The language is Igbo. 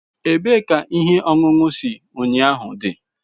Ebee ka ihe ọṅụṅụ si ụnyahụ dị?